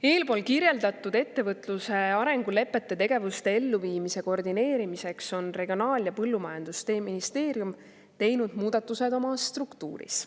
" Eespool kirjeldatud ettevõtluse arengulepete tegevuste elluviimise koordineerimiseks on Regionaal‑ ja Põllumajandusministeerium teinud muudatused oma struktuuris.